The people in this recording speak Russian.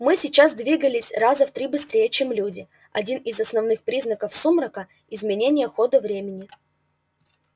мы сейчас двигались раза в три быстрее чем люди один из основных признаков сумрака изменение хода времени